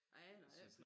Jeg aner det ik